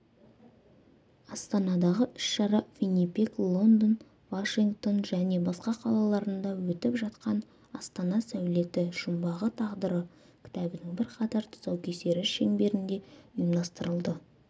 астанадағы іс-шара виннипег лондон вашингтон және басқа қалаларында өтіп жатқан астана сәулеті жұмбағы тағдыры кітабының бірқатар тұсаукесері шеңберінде ұйымдастырылды